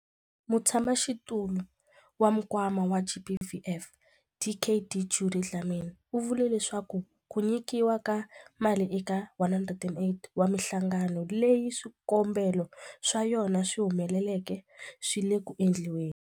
Mutshamaxitulu wa Nkwama wa GBVF, Dkd Judy Dlamini, u vule leswaku ku nyikiwa ka mali eka 108 wa mihlangano leyi swikombelo swa yona swi humeleleke swi le ku endliweni.